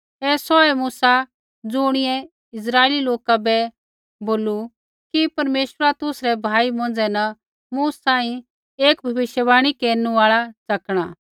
ऐ सौहै मूसा ज़ुणियै इस्राइली लोका बै बोलू कि परमेश्वरा तुसरै भाई मौंझ़ै न मूँ सांही एक भविष्यवाणी केरनु आल़ा च़कणा